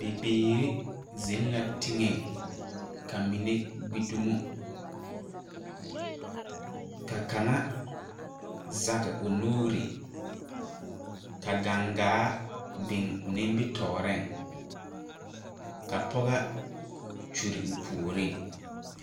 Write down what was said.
Bibiire zeŋ la teŋɛŋ ka mine gbi dumo ka kaŋa zege o nuure ka gaŋgaa biŋ o nimitooreŋ ka pɔgɔ kyure o puoriŋ.